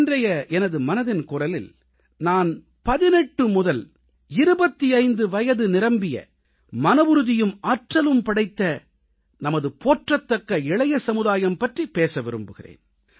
இன்றைய எனது மனதின் குரலில் நான் 18 முதல் 25 வயது நிரம்பிய மனவுறுதியும் ஆற்றலும் படைத்த நமது போற்றத்தக்க இளைய சமுதாயம் பற்றிப் பேச விரும்புகிறேன்